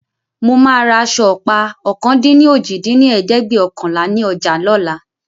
Mo máa ra aṣọ ọ̀pá ọ̀kan-dín-ní-ojì dín ní ẹ̀ẹ́dẹ́gbẹ́ọ̀kànlá ni ọjà lóla